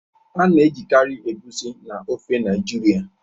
A na-ejikarị Egusi na ofe Naijiria.